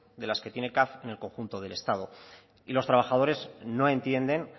de las que tiene caf en el conjunto del estado y los trabajadores no entienden